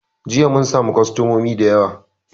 Jiya mun samu kostamomi da yawa